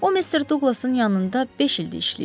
O, Mr. Douqlasın yanında beş ildir işləyirdi.